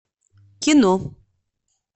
кино